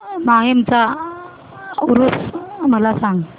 माहीमचा ऊरुस मला सांग